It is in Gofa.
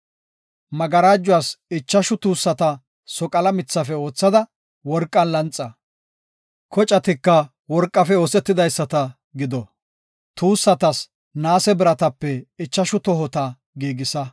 Magarajuwas ichashu tuussata soqala mithafe oothada worqan lanxa; kocatika worqafe oosetidaysata gido. Tuussatas naase biratape ichashu tohota giigisa.”